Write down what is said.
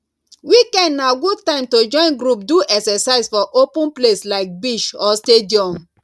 weekend na good time to join group do exercise for open place like beach or stadium